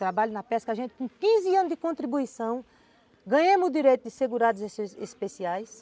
Trabalho na pesca, a gente com quinze anos de contribuição, ganhamos o direito de segurados especiais.